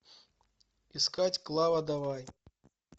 искать клава давай